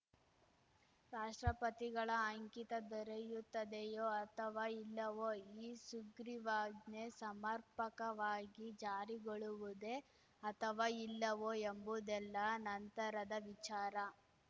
ರಾಷ್ಟ್ರಪತಿಗಳ ಅಂಕಿತ ದೊರೆಯುತ್ತದೆಯೋ ಅಥವಾ ಇಲ್ಲವೋ ಈ ಸುಗ್ರೀವಾಜ್ಞೆ ಸಮರ್ಪಕವಾಗಿ ಜಾರಿಗೊಳುವುದೇ ಅಥವಾ ಇಲ್ಲವೋ ಎಂಬುದೆಲ್ಲ ನಂತರದ ವಿಚಾರ